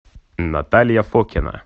наталья фокина